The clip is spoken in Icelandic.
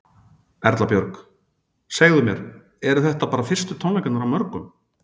Erla Björg: Segðu mér, þetta eru bara fyrstu tónleikarnir af mörgum?